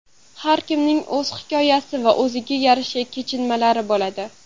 Har kimning o‘z hikoyasi va o‘ziga yarasha kechinmalari bo‘ladi.